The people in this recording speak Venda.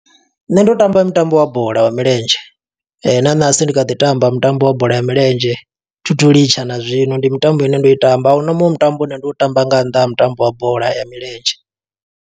Nṋe ndo tamba mutambo wa bola ya milenzhe, na ṋahasi ndi kha ḓi tamba mutambo wa bola ya milenzhe. Thi thu litsha na zwino, ndi mitambo ine ndo i tamba. A huna muṅwe mutambo une ndo u tamba, nga nnḓa ha mutambo wa bola ya milenzhe.